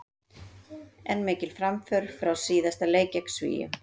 En mikil framför frá síðasta leik gegn Svíum.